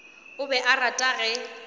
o be a rata ge